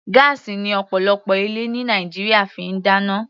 Gáásì ni ọ̀pọ̀lọpọ̀ ilé ní Nàìjíríà fi ń dáná.